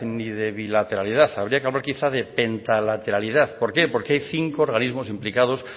ni de bilateralidad habría que hablar quizás de pentalateralidad por qué porque hay cinco organismos implicados